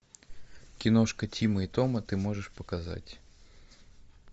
киношка тима и тома ты можешь показать